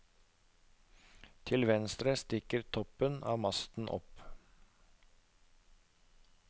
Til venstre stikker toppen av masten opp.